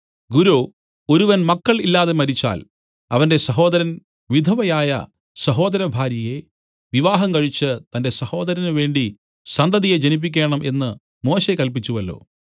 ഗുരോ ഒരുവൻ മക്കൾ ഇല്ലാതെ മരിച്ചാൽ അവന്റെ സഹോദരൻ വിധവയായ സഹോദരഭാര്യയെ വിവാഹംകഴിച്ച് തന്റെ സഹോദരന് വേണ്ടി സന്തതിയെ ജനിപ്പിക്കേണം എന്നു മോശെ കല്പിച്ചുവല്ലോ